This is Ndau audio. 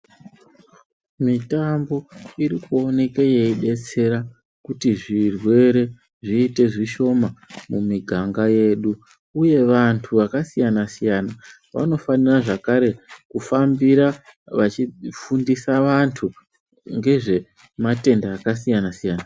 Mitambo irikuwanike yeyidetsera, kuti zvirwere zviyite zvishoma mumiganga yedu. Uye vantu vakasiyana siyana, vanofanira zvakare kufambira vachifundisa vantu ngezvematenda akasiyana siyana.